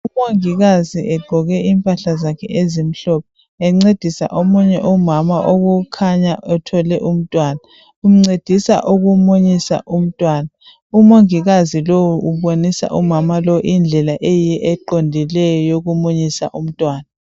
Umongikazi ogqoke impahla zakhe ezimhlophe encedisa omunye umama okukhanya uthwele umntwana uncedisa ukumunyisa umntwana umongikazi lowu ubonisa umama lowu indlela eyiyo eqondileyo yokumunyisa umntwana.